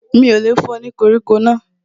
Mi ò lè fún ẹ ní koríko náà